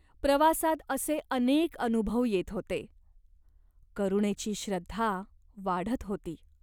प्रवासात असे अनेक अनुभव येत होते. करुणेची श्रद्धा वाढत होती.